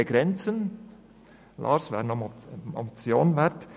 Lars Guggisberg, dies wäre noch eine Motion wert.